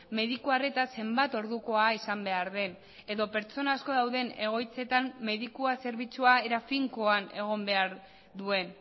mediku arreta zenbat ordukoa izan behar den edo pertsona asko dauden egoitzetan medikua zerbitzua era finkoan egon behar duen